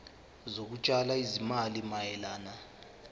zokutshala izimali mayelana